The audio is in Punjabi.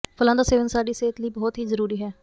ਫਲਾਂ ਦਾ ਸੇਵਨ ਸਾਡੀ ਸਿਹਤ ਲਈ ਬਹੁਤ ਹੀ ਜ਼ਰੂਰੀ ਹੈ